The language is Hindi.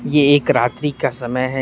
ये एक रात्रि का समय है।